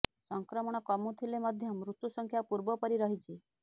ସଂକ୍ରମଣ କମୁଥିଲେ ମଧ୍ୟ ମୃତ୍ୟୁ ସଂଖ୍ୟା ପୂର୍ବ ପରି ରହିଛି